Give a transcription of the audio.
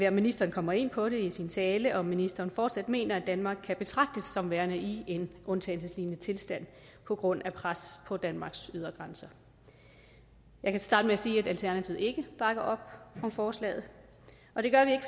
at ministeren kommer ind på det i sin tale om ministeren fortsat mener at danmark kan betragtes som værende i en undtagelseslignende tilstand på grund af pres på danmarks ydre grænser jeg kan starte med at sige at alternativet ikke bakker op om forslaget og det gør vi